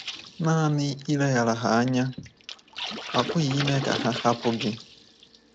Nanị ileghara ha anya apụghị ime ka ha hapụ gị.